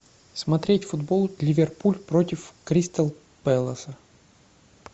смотреть футбол ливерпуль против кристал пэласа